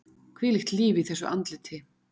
Þvílíkt líf í þessu andliti!